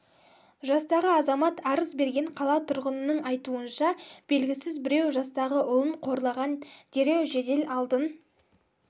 жастағы азамат арыз берген қала тұрғынының айтуынша белгісіз біреу жастағы ұлын қорлаған дереу жедел алдын